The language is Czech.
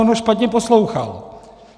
On ho špatně poslouchal.